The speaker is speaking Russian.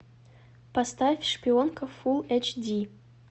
поставь шпионка фулл эйч ди